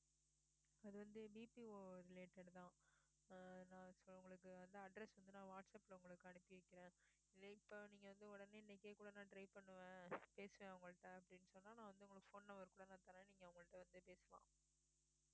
அதுவந்து BPOrelated தான் ஆஹ் நான் இப்ப உங்களுக்கு வந்து address வந்து நான் வாட்ஸாப்ல உங்களுக்கு அனுப்பி வைக்கிறேன் இல்லை இப்போ நீங்க வந்து உடனே இன்னைக்கே கூட நான் try பண்ணுவேன் பேசுவேன் அவங்ககிட்ட அப்படின்னு சொன்னால் நான் வந்து உங்களுக்கு phone number கூட நான் தரேன் நீங்க அவங்க கிட்ட வந்து பேசலாம்